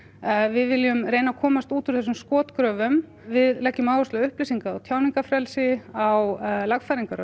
við viljum reyna að komast út úr þessum skotgröfum við leggjum áherslu á upplýsinga og tjáningafrelsi á lagfæringar á